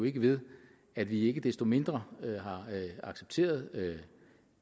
ikke ved at vi ikke desto mindre har accepteret